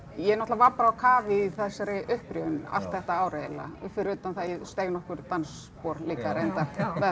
ég náttúrulega var bara á kafi í þessari upprifjun allt þetta ár eiginlega fyrir utan það að ég steig nokkur dansspor líka reyndar